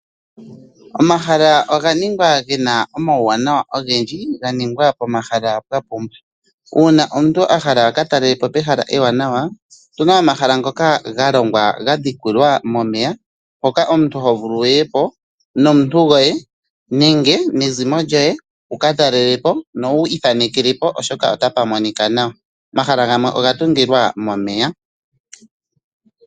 Omahala oga ningwa ge na omauwanawa ogendji ga ningwa pomahala pwa pumba uuna omuntu a hala aka talelepo pehala ewanawa otu na omahala ngoka ga longwa ga dhikilwa momeya hoka omuntu ho vulu wu yepo nomuntu goye nenge nezimo lyoye wu katalelepo no wu ithanekelepo oshoka ota pa monika nawa. Omahala gamwe oga tungilwa momeya.